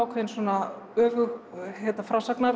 komin svona öfugur